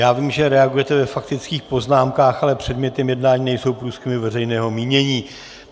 Já vím, že reagujete ve faktických poznámkách, ale předmětem jednání nejsou průzkumy veřejného mínění.